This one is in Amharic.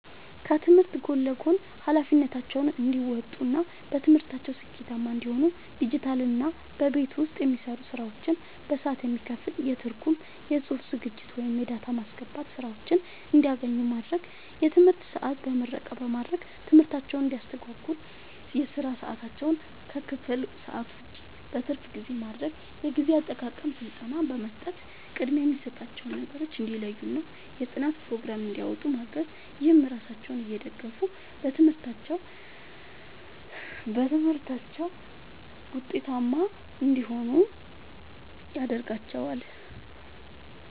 ከትምህርት ጎን ለጎን ኃላፊነታቸውን እንዲወጡ እና በትምህርታቸው ስኬታማ እንዲሆኑ ዲጂታልና በቤት ውስጥ የሚሰሩ ስራዎች በሰዓት የሚከፈል የትርጉም፣ የጽሑፍ ዝግጅት ወይም የዳታ ማስገባት ሥራዎችን እንዲያገኙ ማድረግ። የትምህርት ሰዓት በምረቃ በማድረግ ትምህርታቸውን እንዳያስተጓጉል የሥራ ሰዓታቸውን ከክፍል ሰዓት ውጭ (በትርፍ ጊዜ) ማድረግ። የጊዜ አጠቃቀም ሥልጠና በመስጠት ቅድሚያ የሚሰጣቸውን ነገሮች እንዲለዩና የጥናት ፕሮግራም እንዲያወጡ ማገዝ። ይህም ራሳቸውን እየደገፉ በትምህርታቸው ውጤታማ እንዲሆኑ ያደርጋቸዋል።